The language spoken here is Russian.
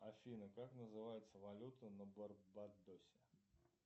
афина как называется валюта на барбадосе